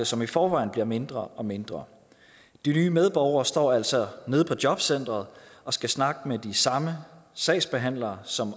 som i forvejen bliver mindre og mindre de nye medborgere står altså nede på jobcentret og skal snakke med de samme sagsbehandlere som